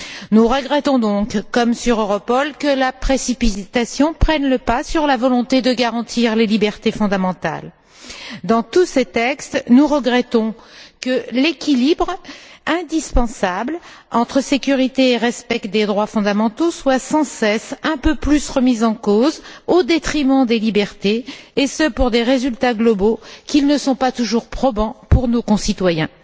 Nous regrettons donc, comme sur Europol, que la précipitation prenne le pas sur la volonté de garantir les libertés fondamentales. Dans tous ces textes, nous regrettons que l'équilibre indispensable entre sécurité et respect des droits fondamentaux soit sans cesse un peu plus remis en cause, au détriment des libertés, et ce pour des résultats globaux qui ne sont pas toujours probants pour nos concitoyens.